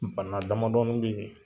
Bana damadɔnin bɛ yen